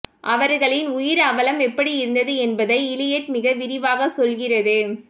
அவர்களின் உயிர் அவலம் எப்படியிருந்தது என்பதை இலியட் மிக விரிவாக சொல்கிறது